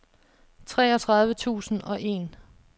treogtredive tusind og en